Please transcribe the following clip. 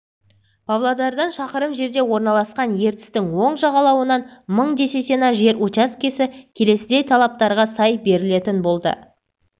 павлодардан шақырым жерде орналасқан ертістің оң жағалауынан мың десятина жер учаскесі келесідей талаптарға сай берілетін болды